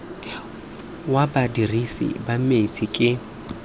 wa badirisi ba metsi ke